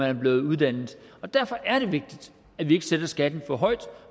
er blevet uddannet derfor er det vigtigt at vi ikke sætter skatten for højt